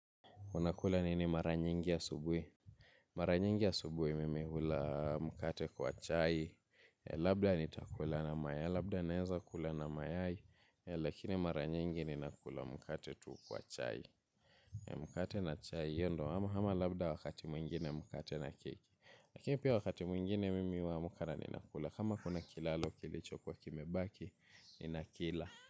Unakula nini mara nyingi asubuhi? Mara nyingi asubui mimi hula mkate kwa chai. Labda naeza kula na mayai. Lakini mara nyingi ninakula mkate tu kwa chai. Mkate na chai hio ndo ama labda wakati mwingine mkate na keki. Lakini pia wakati mwingine mimi huamka na ninakula. Kama kuna kilalo kilicho kuwa kimebaki ninakila.